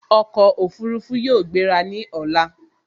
Ọkọ̀ Òfurufú yóò gbera ní ọ̀la